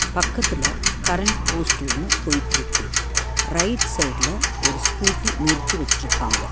பக்கத்துல current post ஒன்னு போயிட்டுருக்கு ரைட் சைடு ல ஒரு ஸ்கூட்டி நிறுத்தி வெச்சிருக்காங்க.